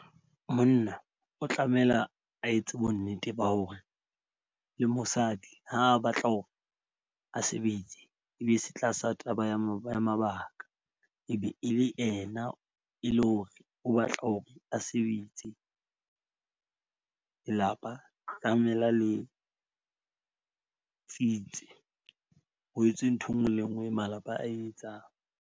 Monna o tlamela a etse bonnete ba hore le mosadi ha a batla hore a sebetse ebe se tlasa taba ya ya mabaka. E be e le yena e le hore o batla hore a sebetse. Lelapa tlamela le tsitse ho etswe ntho enngwe le enngwe malapa a etsang.